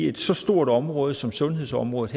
et så stort område som sundhedsområdet